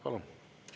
Palun!